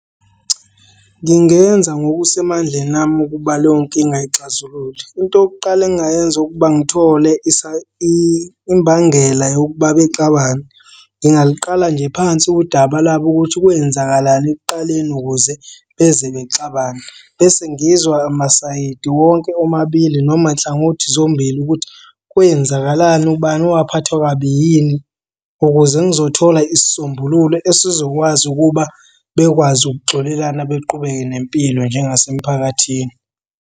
Ngingenza ngokusemandleni ami ukuba leyo nkinga ayixazulule. Into yokuqala engingayenza ukuba ngithole imbangela yokuba bexabane. Ngingaliqala nje phansi udaba lwabo ukuthi kwenzakalani ekuqaleni ukuze beze bexabane bese ngizwa masayidi wonke omabili noma nhlangothi zombili ukuthi, kwenzakalani, ubani owaphathwa kabi yini ukuze ngizothola isisombululo esizokwazi ukuba bekwazi ukuxolelana baqhubeke nempilo njengasemphakathini.